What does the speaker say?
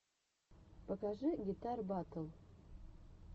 покажи гитар батл